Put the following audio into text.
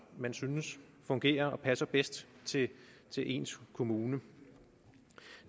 man synes fungerer og passer bedst til til ens kommune